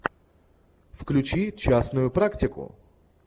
включи частную практику